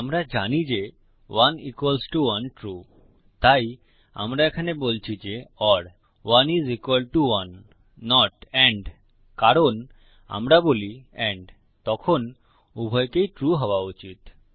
আমরা জানি যে 1 ইকুয়ালস টো 1 ট্রু তাই আমরা এখানে বলছি যে ওর 1 is equal to 1 not and কারণ আমরা বলি এন্ড তখন উভয়কেই ট্রু হওয়া উচিত